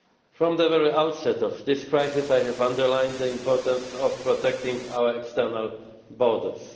From the very outset of this crisis, I have underlined the importance of protecting our external borders.